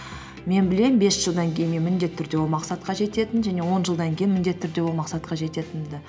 мен білемін бес жылдан кейін мен міндетті түрде ол мақсатқа жететінімді және он жылдан кейін міндетті түрде ол мақсатқа жететінімді